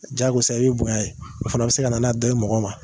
Jagosa i bɛ bonya ye o fana bɛ se ka na n'a dɔ ye mɔgɔ ma